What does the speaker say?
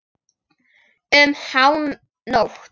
Um hánótt.